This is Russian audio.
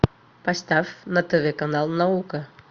поставь на тв канал наука